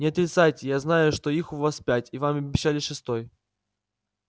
не отрицайте я знаю что их у вас пять и вам обещали шестой